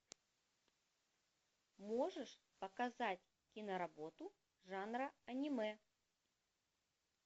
можешь показать киноработу жанра аниме